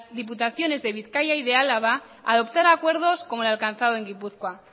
diputaciones de bizkaia y de álava a adoptar acuerdos como el alcanzado en gipuzkoa